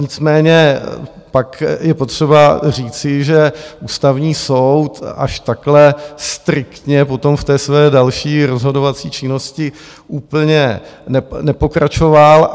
Nicméně pak je potřeba říci, že Ústavní soud až takhle striktně potom v té své další rozhodovací činnosti úplně nepokračoval.